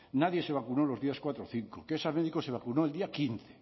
nadie se vacunó los días cuatro cinco que esa médico se vacunó el día quince